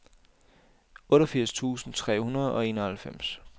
otteogfirs tusind tre hundrede og enoghalvfems